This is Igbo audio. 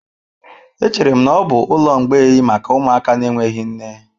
Echere m na ọ bụ ụlọ mgbei maka ụmụaka na-enweghị nne.